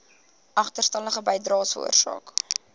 agterstallige bydraes veroorsaak